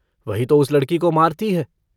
वही तो उस लड़की को मारती है।